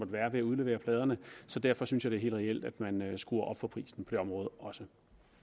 være ved at udlevere pladerne så derfor synes jeg det er helt reelt at man skruer op for prisen på det område også